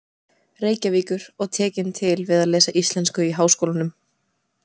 Reykjavíkur og tekin til við að lesa íslensku í Háskólanum.